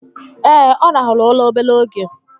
Ee, ọ rahụru ụra obere oge